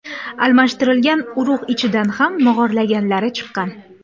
Almashtirilgan urug‘ ichidan ham mog‘orlaganlari chiqqan.